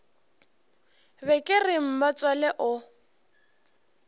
be ke re mmatswale o